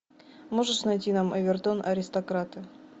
можешь найти нам эвертон аристократы